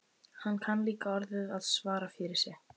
Hann kann líka orðið að svara fyrir sig.